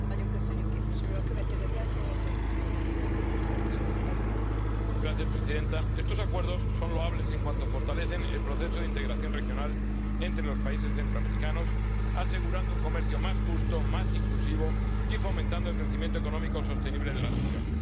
Señora presidenta, estos Acuerdos son loables en cuanto fortalecen el proceso de integración regional entre los países centroamericanos, asegurando un comercio más justo y más inclusivo y fomentando el crecimiento económico sostenible de la región.